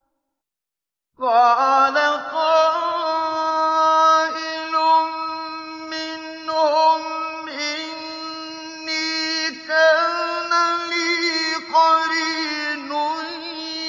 قَالَ قَائِلٌ مِّنْهُمْ إِنِّي كَانَ لِي قَرِينٌ